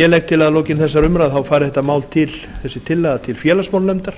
ég legg til að að lokinni þessari umræðu fari þessi tillaga til félagsmálanefndar